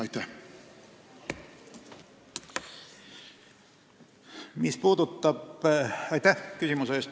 Aitäh küsimuse eest!